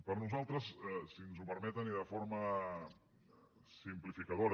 per nosaltres si ens ho permeten i de forma simplificadora